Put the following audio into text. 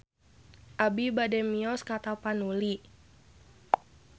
Abi bade mios ka Tapanuli